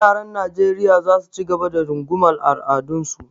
Yaran Najeriya za su ci gaba da rungumar al’adunsu.